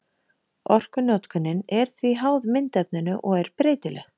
Orkunotkunin er því háð myndefninu og er breytileg.